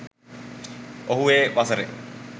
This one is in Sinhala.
ඔහු ඒ වසරේ